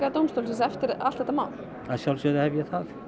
dómstólsins eftir allt þetta mál að sjálfsögðu hef ég það